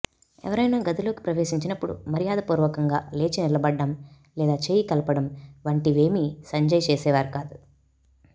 ఎవరైనా గదిలోకి ప్రవేశించినప్పుడు మర్యాదపూర్వకంగా లేచినిలబడడం లేదా చేయి కలపడం వంటివేమీ సంజయ్ చేసేవారు కాదు